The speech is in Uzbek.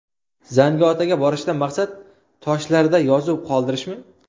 Zangiotaga borishdan maqsad toshlarda yozuv qoldirishmi?